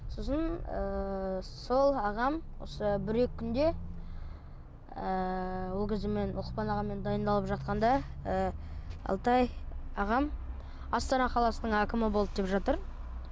сосын ыыы сол ағам осы бір екі күнде ыыы ол кезде мен лұқпан ағаммен дайындалып жатқанда ы алтай ағам астана қаласының әкімі болды деп жатыр